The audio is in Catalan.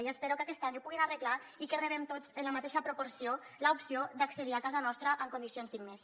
i espero que aquest any ho puguin arreglar i que rebem tots en la mateixa proporció l’opció d’accedir a casa nostra en condicions dignes